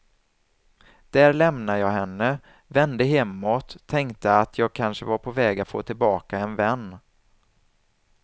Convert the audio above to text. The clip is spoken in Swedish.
Där lämnade jag henne, vände hemåt och tänkte att jag kanske var på väg att få tillbaka en vän.